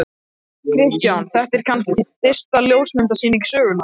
Kristján: Þetta er kannski stysta ljósmyndasýning sögunnar?